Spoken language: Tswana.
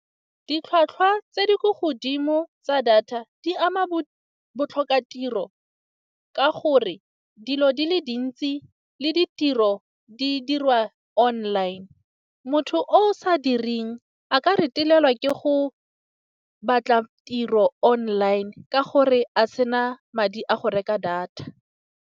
Ditlhwatlhwa tse di ko godimo tsa data, di ama botlhokatiro ka gore dilo di le dintsi le ditiro di dirwa online. Motho o sa direng a ka retelelwa ke go batla tiro online, ka gore a sena madi a go reka data.